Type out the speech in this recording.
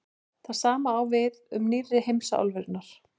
það sama á við um „nýrri“ heimsálfurnar